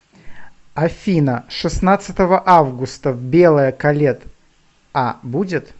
афина шестнадцатого августа в белое колет а будет